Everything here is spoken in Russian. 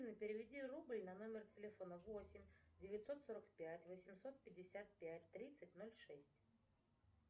переведи рубль на номер телефона восемь девятьсот сорок пять восемьсот пятьдесят пять тридцать ноль шесть